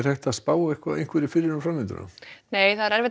hægt að spá fyrir um framvinduna það er erfitt